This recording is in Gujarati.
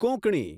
કોંકણી